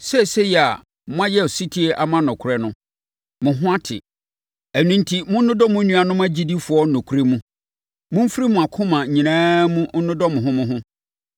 Seesei a moayɛ ɔsetie ama nokorɛ no, mo ho ate. Ɛno enti, monnodɔ mo nuanom agyidifoɔ nokorɛ mu. Momfiri mo akoma nyinaa mu nnodɔ mo ho mo ho.